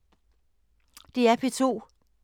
DR P2